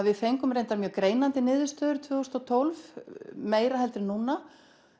við fengum reyndar mjög greinandi niðurstöður tvö þúsund og tólf meira heldur en núna